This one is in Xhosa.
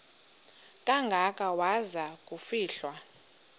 kangaka waza kufihlwa